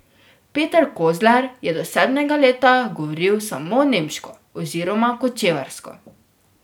Peter Kozler je do sedmega leta govoril samo nemško oziroma kočevarsko.